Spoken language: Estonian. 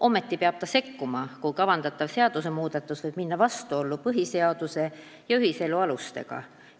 Ometi peab ta sekkuma, kui kavandatav seadusemuudatus võib minna vastuollu põhiseaduse ja ühiselu alustega.